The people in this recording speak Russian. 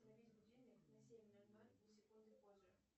заведи будильник на семь ноль ноль ни секундой позже